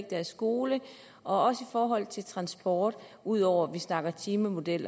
deres skole og også i forhold til transport ud over at vi snakker timemodel